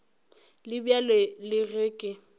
le bjalo le ge ke